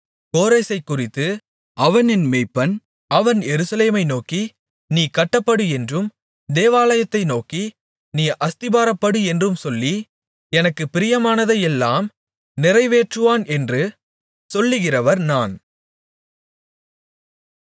கோரேசைக் குறித்து அவன் என் மேய்ப்பன் அவன் எருசலேமை நோக்கி நீ கட்டப்படு என்றும் தேவாலயத்தை நோக்கி நீ அஸ்திபாரப்படு என்று சொல்லி எனக்குப் பிரியமானதையெல்லாம் நிறைவேற்றுவான் என்று சொல்கிறவர் நான்